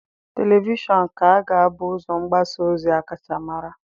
Televishọn ka ga-abụ ụzọ mgbasa ozi a kacha mara.